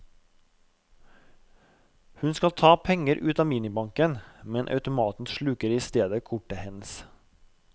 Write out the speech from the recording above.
Hun skal ta penger ut av minibanken, men automaten sluker i stedet kortet hennes.